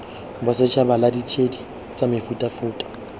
bosetšhaba la ditshedi tsa mefutafuta